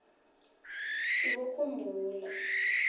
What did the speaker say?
sibokhumbula